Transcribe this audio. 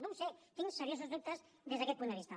no ho sé tinc seriosos dubtes des d’aquest punt de vista